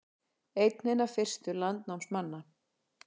Einn hinna fyrstu landnámsmanna